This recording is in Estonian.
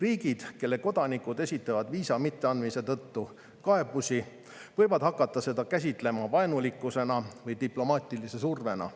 Riigid, kelle kodanikud esitavad viisa mitteandmise tõttu kaebusi, võivad hakata seda käsitlema vaenulikkusena või diplomaatilise survena.